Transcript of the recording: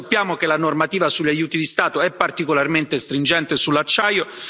Noi sappiamo che la normativa sugli aiuti di Stato è particolarmente stringente sull'acciaio.